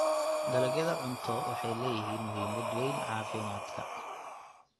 Dalagyada cunto waxay leeyihiin muhiimad weyn caafimaadka.